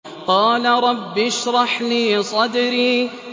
قَالَ رَبِّ اشْرَحْ لِي صَدْرِي